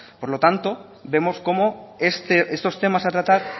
por lo tanto vemos cómo estos temas a tratar